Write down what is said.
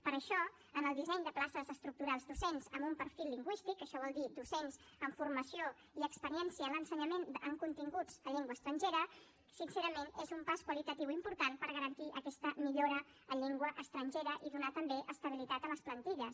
per això en el disseny de places estructurals docents amb un perfil lingüístic que això vol dir docents amb formació i experiència en l’ensenyament en continguts en llengua estrangera sincerament és un pas qualitatiu important per garantir aquesta millora en llengua estrangera i donar també estabilitat a les plantilles